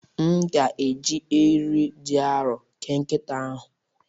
M ga-eji eriri dị arọ kee nkịta ahụ